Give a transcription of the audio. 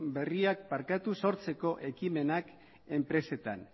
berriak sortzeko ekimenak enpresetan